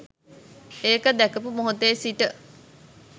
ඒක දැකපු මොහොතේ සිට